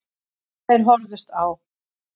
Þeir horfðust á.